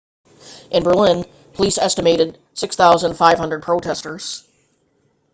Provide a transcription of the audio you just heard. in berlin police estimated 6,500 protestors